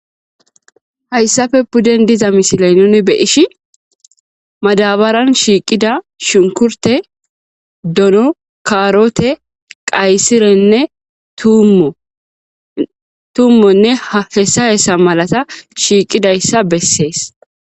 Haysappe pudden dizza missile nuni be'ishin madabaran shiqida shunkurte,dono,karote, qaysirenne tumo tumonne hesa hesa malata shiqidaysa beses.